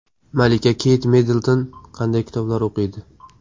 Malika Keyt Middlton qanday kitoblar o‘qiydi?.